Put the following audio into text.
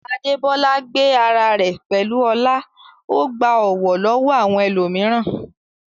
Adebola gbé ara rẹ̀ pẹ̀lú ọlá, ó gba ọ̀wọ̀ lọ́wọ́ àwọn ẹlòmíràn.